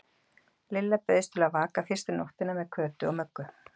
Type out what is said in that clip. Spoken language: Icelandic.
Lilla bauðst til að vaka fyrstu nóttina með Kötu og Möggu.